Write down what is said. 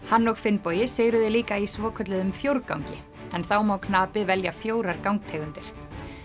hann og Finnbogi sigruðu líka í svokölluðum fjórgangi en þá má knapi velja fjórar gangtegundir